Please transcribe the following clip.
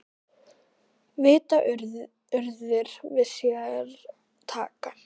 Vita urðir við sér taka.